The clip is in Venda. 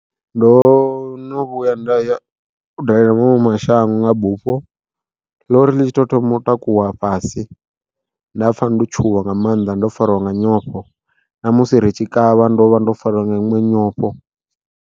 Ndo no vhuya nda ya u dalela maṅwe mashango nga bufho, ḽori ḽi tshi tou thoma u takuwa fhasi, nda pfha ndo tshuwa nga mannḓa ndo farwa nga nyofho namusi ri tshi kavha ndo vha ndo fariwa nga iṅwe nyofho.